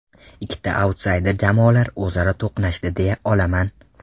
Ikkita autsayder jamoalar o‘zaro to‘qnashdi deya olaman.